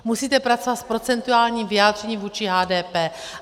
Musíte pracovat s procentuálním vyjádřením vůči HDP.